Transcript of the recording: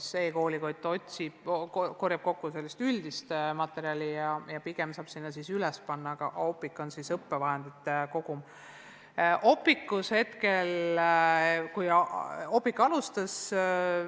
E-koolikott koondab sellist üldist materjali ja pigem saab sinna materjali üles panna, aga Opiq sisaldab riiklikule õppekavale vastavat õppevahendite kogumit.